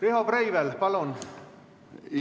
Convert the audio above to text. Riho Breivel, palun!